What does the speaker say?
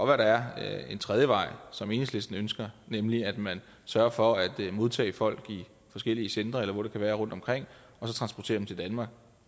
at der er en tredje vej som enhedslisten ønsker nemlig at man sørger for at modtage folk i forskellige centre eller hvor det kan være rundtomkring og så transporterer dem til danmark